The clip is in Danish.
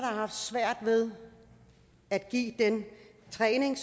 har haft svært ved at give den træning